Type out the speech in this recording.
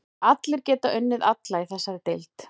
Allir geta unnið alla í þessari deild.